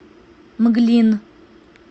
мглин